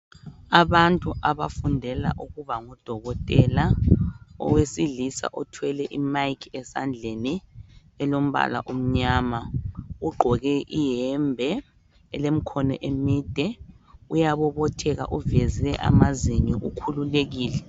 Abantu abafundela ukuba ngodokotela. Owesilisa othwele imayikhi esandleni elombala omnyama ugqoke iyembe elemikhono emide uyabobotheka uveze amazinyo ukhululekile.